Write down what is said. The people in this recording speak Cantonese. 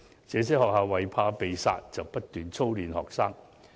這些學校害怕被"殺"，便不斷操練學生。